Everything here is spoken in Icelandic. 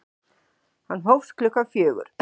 Hann hófst klukkan fjögur.